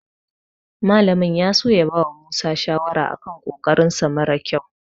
Malamin ya so ya bawa Musa shawara a kan ƙoƙarinsa mara ƙyau.